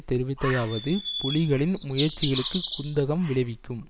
தெரிவித்ததாவது புலிகளின் முயற்சிகளுக்கு குந்தகம் விளைவிக்கும்